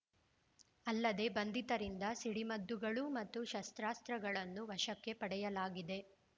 ಅಲ್ಲದೆ ಬಂಧಿತರಿಂದ ಸಿಡಿಮದ್ದುಗಳು ಮತ್ತು ಶಸ್ತ್ರಾಸ್ತ್ರಗಳನ್ನು ವಶಕ್ಕೆ ಪಡೆಯಲಾಗಿದೆ